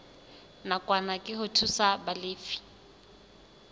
nakwana ke ho thusa balefi